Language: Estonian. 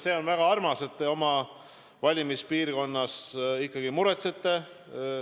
See on väga armas, et te oma valimispiirkonna pärast muretsete.